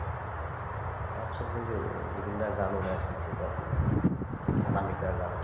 তাৰপিছত সেই যে জুবিন দাৰ গানো গাইছিলে তেতিয়াতো অনামিকাৰ গান